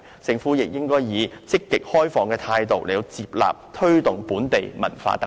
政府亦應該以積極、開放的態度，接納和推動本地文化特色。